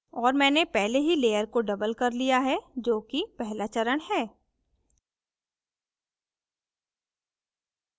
और मैंने पहले ही layer को doubled कर layer है जो कि पहला चरण है